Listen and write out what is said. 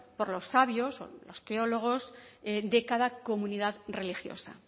por los sabios los teólogos de cada comunidad religiosa